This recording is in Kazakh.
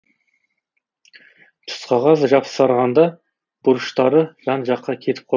тұсқағаз жапсырғанда бұрыштары жан жаққа кетіп қалады